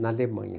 na Alemanha.